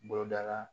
Boloda la